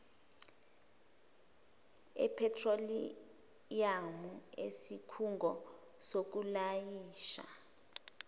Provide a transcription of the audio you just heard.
ephethroliyamu isikhungo sokulayisha